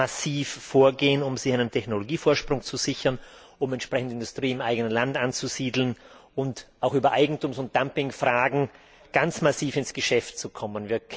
massiv vorgehen, um sich einen Technologievorsprung zu sichern, um Industrie im eigenen Land anzusiedeln und auch über Eigentums und Dumpingfragen ganz massiv ins Geschäft zu kommen.